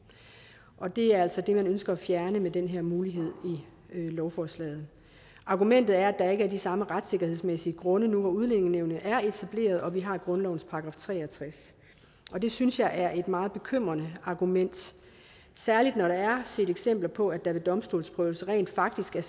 og det er altså det man ønsker at fjerne med den her mulighed i lovforslaget argumentet er at er de samme retssikkerhedsmæssige grunde nu hvor udlændingenævnet er etableret og vi har i grundlovens § tre og tres det synes jeg er et meget bekymrende argument særligt når der er set eksempler på at der ved domstolsprøvelser rent faktisk er